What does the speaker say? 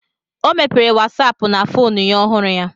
Ọ mepere wasapu na fonu ya ọhụrụ ya